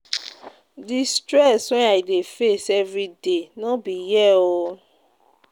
Di stress wey I dey face everyday no be hear o.